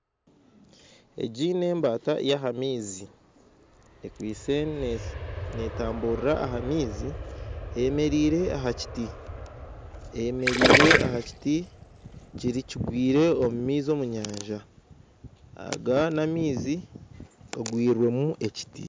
Egi n'embata y'omu maizi, ekwitse netamburira aha maizi eyemerire aha kiti, eyemerire aha kiti kigwire omu maizi omu nyanja. Aga n'amaizi gagwirwemu ekiti.